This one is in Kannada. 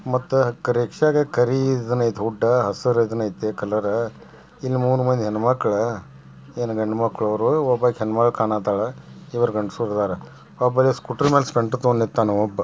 ಮತ್ತ ಕಾರಿಯೇತಿ ಉದ್ದ ಹಸರ್ ಏತಿ ಕಲರ್ ಮೂರ್ ಮಂದಿ ಹೆಣ್ಮಕ್ಳ ಏನ್ ಗಂಡಮಕ್ಳ ಏನೋ ಅವರ ಒಬ್ಬಾಕಿ ಹೆಣ್ಮಗಳ್ ಕಾಣತಾಳ ಇಬ್ರ ಗಂಡಸೂರ್ ಅದರಒಬ್ಬ ಸ್ಕೂಟರ್ ಮ್ಯಾಲ್ ಸ್ಪಿಎಂಟರ್ ತಗೊಂಡ್ ನಿಂತ್ತನ್ ಒಬ್ಬ --